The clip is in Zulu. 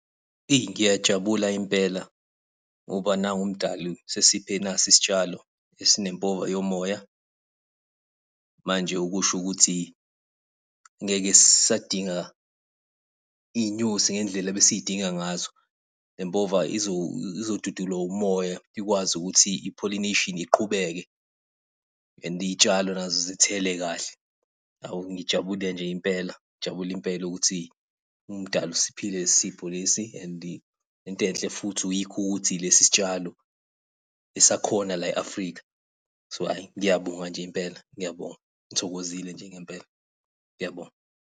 Eyi ngiyajabula impela, ngoba nangu umdali usesiphe nasi isitshalo esinempova yomoya. Manje okusho ukuthi, ngeke sisadinga iy'nyosi ngendlela ebesidinga ngazo, le mpova izodudulwa umoya, ikwazi ukuthi i-pollination iqhubeke and iy'tshalo nazo zithele kahle. Hawu, ngijabule nje impela, ngijabule impela ukuthi umdali usiphile lesi sipho lesi and into enhle futhi yikho ukuthi lesi sitshalo esakhona la e-Africa. So ayi, ngiyabonga nje impela ngiyabonga, ngithokozile nje ngempela, ngiyabonga.